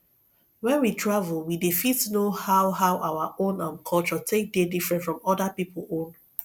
when we travel we dey fit know how how our own um culture take dey different from oda pipo own